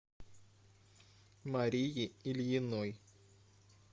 марии ильиной